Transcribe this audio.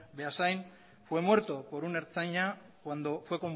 beasain fue muerto por un ertzaina cuando fue